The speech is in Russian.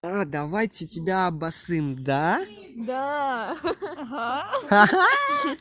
давайте тебя обосцим да